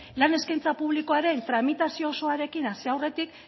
lan eskaintza publikoaren tramitazio osoarekin hasi aurretik